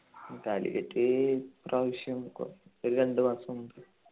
കാലിക്കറ്റ് ഇപ്രാവശ്യം കോ ഒരു രണ്ടു മാസം മുൻപ്